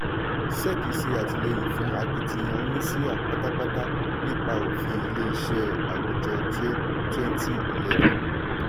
sec ṣe àtìlẹ́yìn fún akitiyan oníṣíà pátápátá nípa òfin ilé iṣẹ́ àwùjọ twenty eleven.